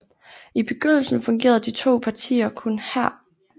I begyndelsen fungerede de to partier kun her